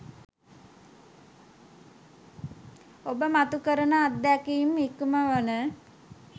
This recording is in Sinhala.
ඔබ මතු කරන අත්දැකීම ඉක්මවන